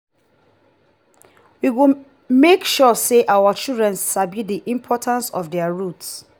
we go make sure say our children sabi the importance of their roots.